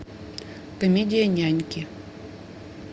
комедия няньки